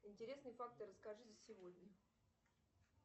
интересные факты расскажи за сегодня